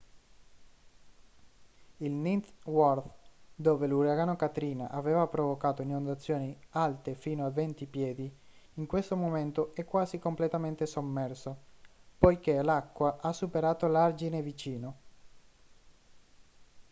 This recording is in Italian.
il ninth ward dove l'uragano katrina aveva provocato inondazioni alte fino a 20 piedi in questo momento è quasi completamente sommerso poiché l'acqua ha superato l'argine vicino